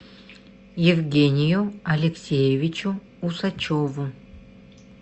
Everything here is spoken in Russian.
евгению алексеевичу усачеву